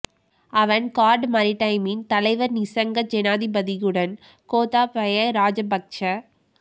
அவன் கார்ட் மரிடைம் இன் தலைவர் நிசங்க சேனாதிபதியுடன் கோத்தாபய ராஜபக்ச